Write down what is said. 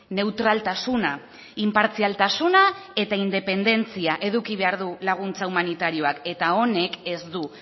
neutraltasuna inpartzialtasuna eta independentzia eduki behar du laguntza humanitarioak eta honek ez du